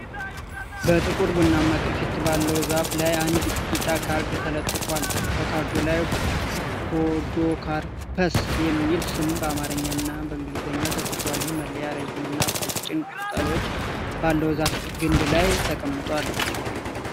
በ ጥቁር ቡናማ ቅርፊት ባለው ዛፍ ላይ አንድ ቢጫ ካርድ ተለጥፏል፡፡ በካርዱ ላይ "ፖዶካርፐስ" የሚል ስም በአማርኛና በእንግሊዝኛ ተጽፏል፡፡ ይህ መለያ ረዥምና ቀጭን ቅጠሎች ባለው ዛፍ ግንድ ላይ ተጣብቋል፡፡